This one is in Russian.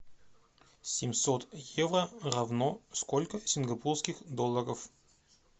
семьсот евро равно сколько сингапурских долларов